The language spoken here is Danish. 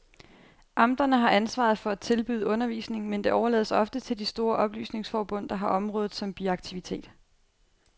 Amterne har ansvaret for at tilbyde undervisning, men det overlades ofte til de store oplysningsforbund, der har området som biaktivitet.